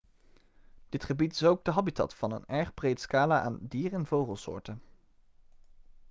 dit gebied is ook de habitat van een erg breed scala aan dier en vogelsoorten